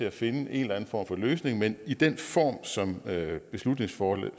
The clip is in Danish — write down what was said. at finde en eller anden form for løsning men i den form som det her beslutningsforslag